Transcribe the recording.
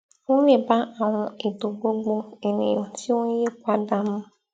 ó lè bá àwọn ètò gbogbo ènìyàn tí ó ń yí padà mu